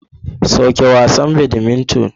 Soke wasan badminton.